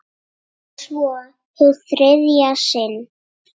Og svo- hið þriðja sinn.